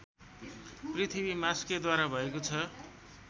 पृथ्वी मास्केद्वारा भएको छ